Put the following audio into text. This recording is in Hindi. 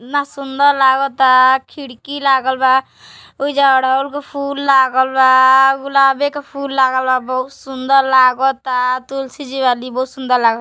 इन्हा सुन्दर लागत ता। खिड़की लागल बा। वहीजा अड़हुल के फुल लागल बा। गुलाबे के फुल लागल बा। बहुत सुन्दर लागत ता। तुलसी जी बातिन। बहुत सुन्दर ला --